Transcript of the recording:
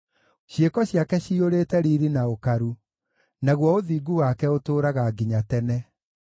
Ciĩko ciake ciyũrĩte riiri na ũkaru, naguo ũthingu wake ũtũũraga nginya tene.